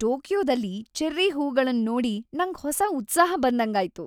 ಟೋಕಿಯೊದಲ್ಲಿ cherry ಹೂಗಳನ್ ನೋಡಿ ನಂಗ್ ಹೊಸ ಉತ್ಸಾಹ ಬಂದಂಗಾಯ್ತು.